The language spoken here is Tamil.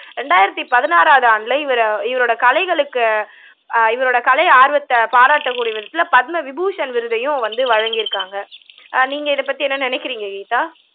ரெண்டாயிரத்தி பதினாறாவது ஆண்டுல இவரு இவரோட கலைகளுக்கு ஆஹ் இவரோட கலை ஆர்வத்தை பாராட்டக்கூடிய விதத்துல பத்மவிபூஷண் விருதையும் வந்து வழங்கி இருக்காங்க நீங்க இதை பத்தி என்ன நினைக்குறீங்க கீதா